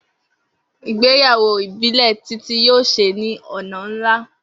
Igbeyawo ibile Titi yoo ṣe ni ọna nla.